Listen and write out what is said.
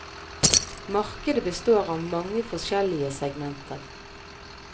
Markedet består av mange forskjellige segmenter.